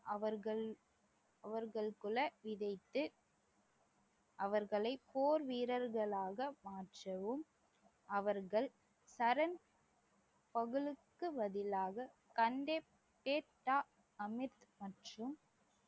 அவர்களுக்குள் விதைத்து அவர்களை போர் வீரர்களாக மாற்றவும் அவர்கள் பதிலாக மற்றும்